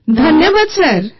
ସମବେତ ସ୍ୱର ଧନ୍ୟବାଦ ସାର୍